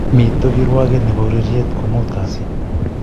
miito kirwake nebo ureirei komot kazi